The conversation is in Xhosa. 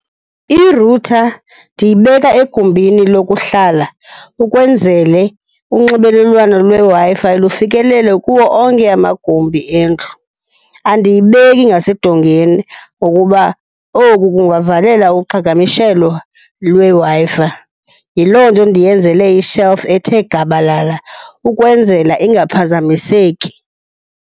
I-router ndiyibeka egumbini lokuhlala ukwenzele unxibelelwano lweWi-Fi lufikelele kuwo onke amagumbi endlu. Andiyibeki ngasedongeni ngokuba oku kungavalela uqhagamshelwa lweWi-Fi. Yi loo nto ndiyenzele i-shelf ethe gabalala ukwenzela ingaphazamiseki.